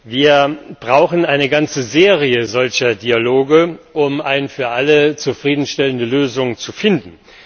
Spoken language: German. Wir brauchen eine ganze Serie solcher Dialoge, um eine für alle zufriedenstellende Lösung zu finden.